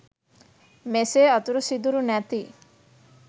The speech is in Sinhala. මෙසේ අතුරු සිදුරු නැති